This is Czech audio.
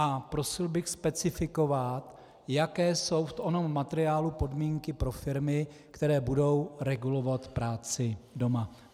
A prosil bych specifikovat, jaké jsou v onom materiálu podmínky pro firmy, které budou regulovat práci doma.